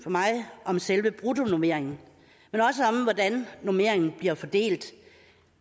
om selve bruttonormeringen men også om hvordan normeringen bliver fordelt